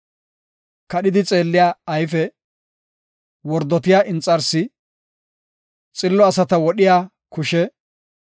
kadhidi xeelliya ayfe, wordotiya inxarsi, xillo asata wodhiya kushe,